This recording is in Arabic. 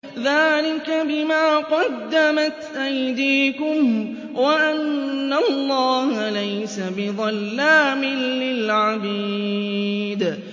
ذَٰلِكَ بِمَا قَدَّمَتْ أَيْدِيكُمْ وَأَنَّ اللَّهَ لَيْسَ بِظَلَّامٍ لِّلْعَبِيدِ